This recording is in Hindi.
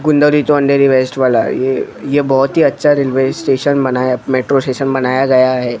कुंदरी टू अंधेरी वेस्ट वाला ये ये बहुत ही अच्छा रेलवे स्टेशन बनाया मेट्रो स्टेशन बनाया गया है।